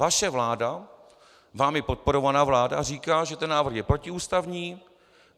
Vaše vláda, vámi podporovaná vláda, říká, že ten návrh je protiústavní.